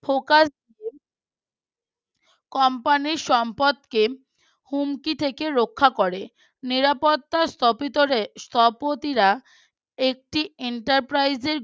Company র সম্পদ কে হুমকি থেকে রক্ষা করে নিরাপত্তা স্থপতিদের স্থপতিরা একটি Enterprise